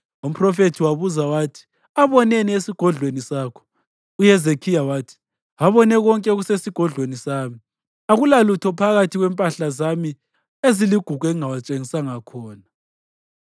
Umphrofethi wabuza wathi, “Aboneni esigodlweni sakho?” UHezekhiya wathi, “Abone konke okusesigodlweni sami. Akulalutho phakathi kwempahla zami eziligugu engingawatshengisanga khona.”